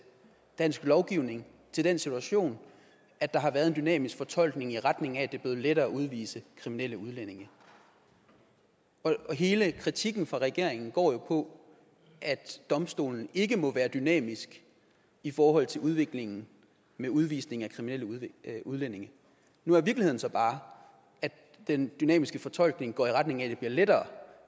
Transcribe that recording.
dansk lovgivning til den situation at der har været en dynamisk fortolkning i retning af at det er lettere at udvise kriminelle udlændinge hele kritikken for regeringen går jo på at domstolen ikke må være dynamisk i forhold til udviklingen med udvisning af kriminelle udlændinge nu er virkeligheden så bare at den dynamiske fortolkning går i retning af at det bliver lettere